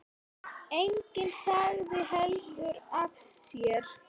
Enginn sagði heldur af sér.